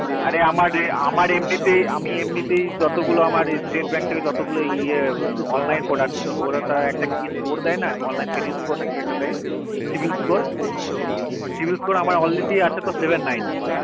আরে আমার আমার এমনিতেই আমি এমনিতেই যত গুলো আমার state bank এর যত গুলো ইয়া online product কিনি ওরা তার একটা কি score দেয় না online credit score না কি একটা দেয় cibil score cibil score আমার already আছে তো seven ninty